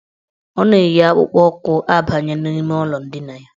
Ọ na-eyi akpụkpụụkwụ abanye n' ime ụlọ ndina ya.